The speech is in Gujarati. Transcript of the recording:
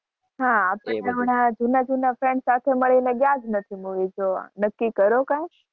હા અપને જુના જુના friends સાથે મળીને ગયા નથી movie જોવા નક્કી કરો કૈક